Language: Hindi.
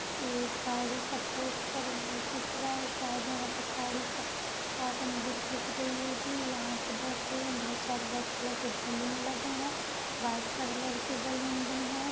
एक गाड़ी का पोस्टर हमें दिख रहा है शायद यहाँ पे गाड़ी का कॉटन बिक-बिक रही होगी। यहाँ पर बहोत सारे रेड कलर के बलून लगे हैं। वाइट कलर के बलून भी हैं।